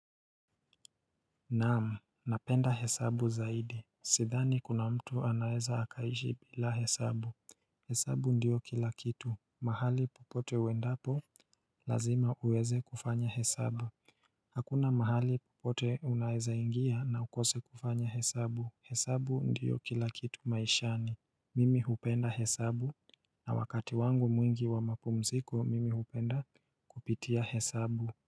Naamu, napenda hesabu zaidi. Sidhani kuna mtu anaeza akaishi bila hesabu. Hesabu ndio kila kitu. Mahali popote uendapo lazima uweze kufanya hesabu. Hakuna mahali popote unaeza ingia na ukose kufanya hesabu. Hesabu ndio kila kitu maishani. Mimi hupenda hesabu na wakati wangu mwingi wa mapumziko mimi hupenda kupitia hesabu.